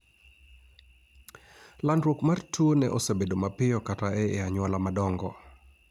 landrouk mar tuo no osebedo mapiyo kata ei anyuola madongo